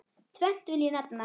Tvennt vil ég nefna.